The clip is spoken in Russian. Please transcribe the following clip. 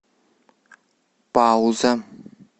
пауза